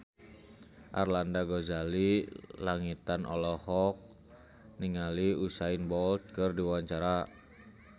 Arlanda Ghazali Langitan olohok ningali Usain Bolt keur diwawancara